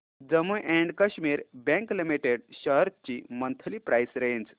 Jammu and Kashmir bank limited shares ची monthly price range